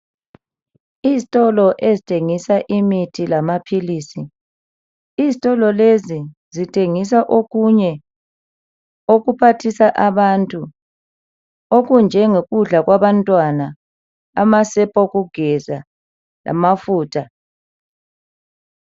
Izitolo ezithengisa imithi lamaphilisi izitolo lezi zithengisa okunye okuphathisa abantu okunjengo kudla kwabantwana amasepa okugeza lamafutha.